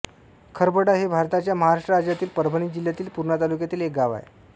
खरबडा हे भारताच्या महाराष्ट्र राज्यातील परभणी जिल्ह्यातील पूर्णा तालुक्यातील एक गाव आहे